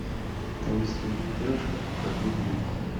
таинственная девушка покажи мне